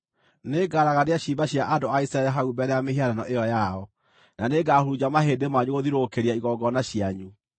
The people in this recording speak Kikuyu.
Nĩngaragania ciimba cia andũ a Isiraeli hau mbere ya mĩhianano ĩyo yao, na nĩngahurunja mahĩndĩ manyu gũthiũrũrũkĩria igongona cianyu.